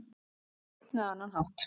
Á einn eða annan hátt.